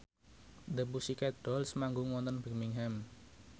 The Pussycat Dolls manggung wonten Birmingham